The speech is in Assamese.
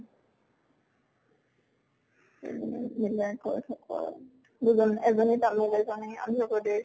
কৰি থাকো আৰু। দুজন এজন আন্ধ্ৰা প্ৰদেশ